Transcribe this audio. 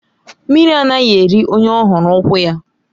Mmiri anaghị eri onye ọ hụghị ukwu ya.